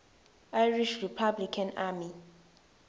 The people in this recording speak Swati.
irish republican army